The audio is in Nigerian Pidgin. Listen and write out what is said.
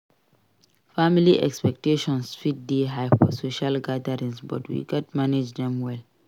Family expectations fit dey high for social gatherings but we gats manage dem well.